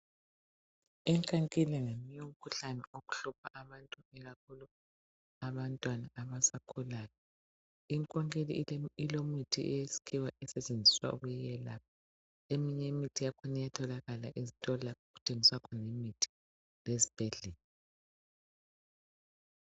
Inkankili ngomunye umkhuhlane ohlupha abantu ikakhulu abantwana abasakhulayo. Inkankili elemithi yesikhiwa esetshenziswa ukuyelapha eminye imithi iyatholakala ezitolo lapho okuthengiswa imithi lezibhedlela.